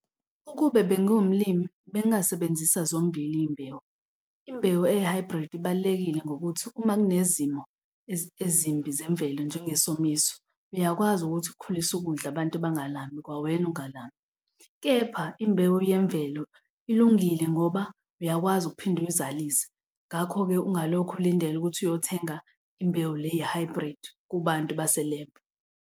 Ukube bengiwumlimi bengingasebenzisa zombili iy'mbewu. Imbewu eyi-hybrid ibalulekile ngokuthi uma kunezimo ezimbi zemvelo njengesomiso, uyakwazi ukuthi ukhulise ukudla abantu bangalambi kwawena ungalambi, kepha imbewu yemvelo ilungile ngoba uyakwazi ukuphinde uyizalise. Ngakho-ke ungalokhu ulindela ukuthi uyothenga imbewu le ye-hybrid kubantu baselebhu.